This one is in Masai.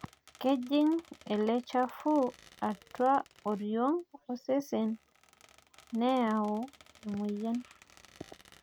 kejing ele chafu atua oo oriong' osesen neyau emoyian